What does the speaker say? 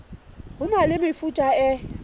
ho na le mefuta e